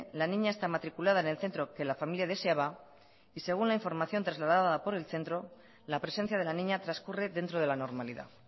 la niña está matriculada en el centro que la familia deseaba y según la información trasladada por el centro la presencia de la niña transcurre dentro de la normalidad